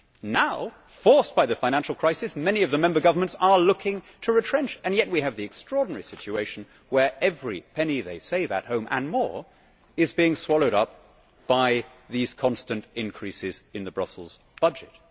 Now, forced by the financial crisis, many of the member governments are looking to retrench and yet we have the extraordinary situation where every penny they save at home, and more, is being swallowed up by these constant increases in the Brussels budget.